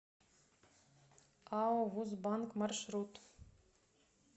ао вуз банк маршрут